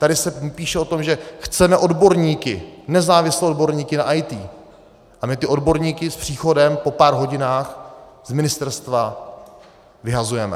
Tady se píše o tom, že chceme odborníky, nezávislé odborníky na IT, a my ty odborníky s příchodem po pár hodinách z ministerstva vyhazujeme.